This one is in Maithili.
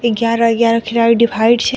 ग्यारह-ग्यारह खिलाड़ी डिवाइड छै।